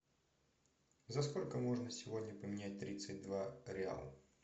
за сколько можно сегодня поменять тридцать два реала